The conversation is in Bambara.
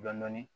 Dɔn dɔɔnin